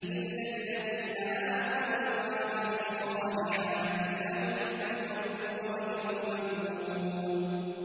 إِلَّا الَّذِينَ آمَنُوا وَعَمِلُوا الصَّالِحَاتِ لَهُمْ أَجْرٌ غَيْرُ مَمْنُونٍ